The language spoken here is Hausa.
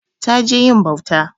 Ta je yin bauta.